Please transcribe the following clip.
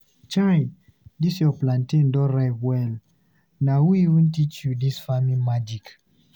Chai! Dis your plantain don ripe well! Na who even dey teach you dis farming magic?